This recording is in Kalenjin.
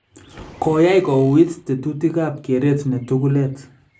Koyaai kouuwit tetutikaab kereet ne tuguuleet